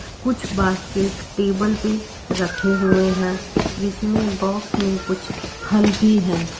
कुछ basket table पे रखे हुए हैं जिसमें बॉक्स में कुछ फल भी हैं।